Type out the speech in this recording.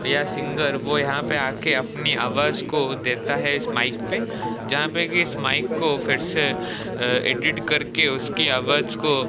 यह सिंगर वो यहां पे आके अपनी आवाज को देता है इस माइक पे जहां पे की इस माइक को फिर से अ एडिट करके उसकी आवाज को --